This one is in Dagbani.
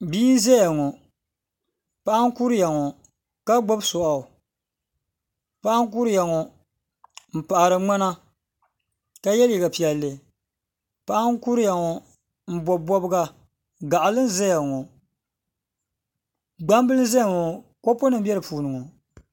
Bia n zaya ŋɔ paɣa n kuriya ŋɔ ka gbubi soɣu paɣa mbkuriya ŋɔ n paɣiri ŋmana ka ye liga piɛlli paɣa kuriya ŋɔ n bobi bobga gaɣili zaya ŋɔ gbambili zaya ŋɔ kopu nim be di puuni.